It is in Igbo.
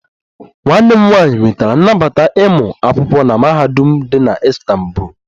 Nwanne m nwanyị nwetara nnabata ịmụ akwụkwọ na mahadum dị na Istanbul